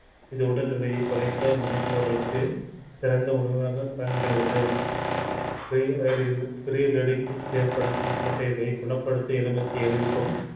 இது உடல் எடையை குறைக்க நினைப்பவர்களுக்கு சிறந்த உணவாக பயன்படுகிறது ஏற்படுத்தும் தேவை குணப்படுத்த எலுமிச்சையில் இருக்கும்